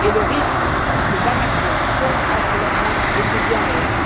et le risque que Bamako tombe entre leurs mains était bien réel.